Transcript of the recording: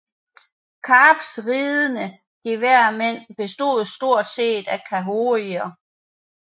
Kaps ridende geværmænd bestod stort set af khoikhoier